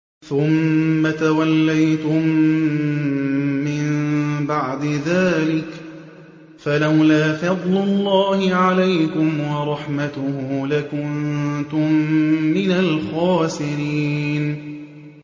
ثُمَّ تَوَلَّيْتُم مِّن بَعْدِ ذَٰلِكَ ۖ فَلَوْلَا فَضْلُ اللَّهِ عَلَيْكُمْ وَرَحْمَتُهُ لَكُنتُم مِّنَ الْخَاسِرِينَ